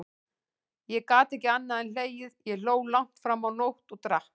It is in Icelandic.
Ég gat ekki annað en hlegið, ég hló langt fram á nótt, og drakk.